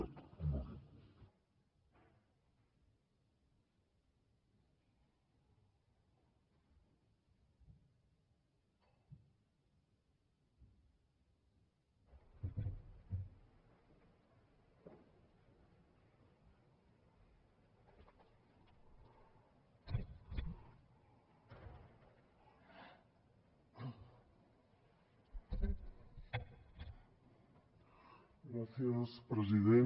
gràcies president